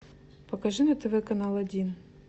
покажи на тв канал один